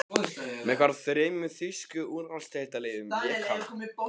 Með hvaða þremur þýsku úrvalsdeildarliðum lék hann?